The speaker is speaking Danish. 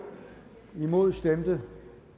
imod stemte